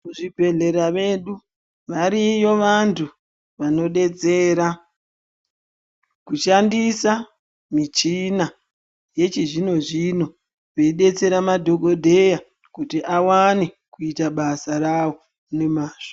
Muzvibhedhlera medu variyo vanthu vanodetsera kushandisa michina yechizvino zvino veidetsera madhogodheya kuti awane kuita basa rawo nemazvo.